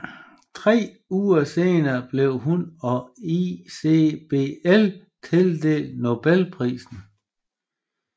Tre uger senere blev hun og ICBL tildelt Nobelprisen